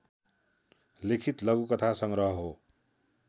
लिखित लघुकथा संग्रह हो